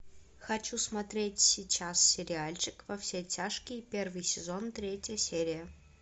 хочу смотреть сейчас сериальчик во все тяжкие первый сезон третья серия